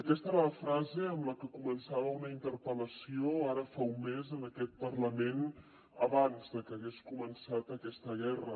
aquesta era la frase amb la que començava una interpel·lació ara fa un mes en aquest parlament abans de que hagués començat aquesta guerra